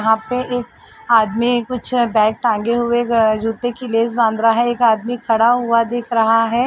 यहां पे एक आदमी कुछ बैग टांगे हुए जुते के लेस बांध रहा है। एक आदमी खड़ा हुआ दिख रहा है। .